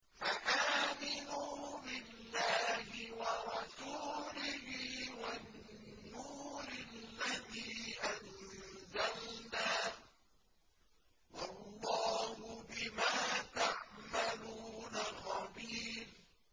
فَآمِنُوا بِاللَّهِ وَرَسُولِهِ وَالنُّورِ الَّذِي أَنزَلْنَا ۚ وَاللَّهُ بِمَا تَعْمَلُونَ خَبِيرٌ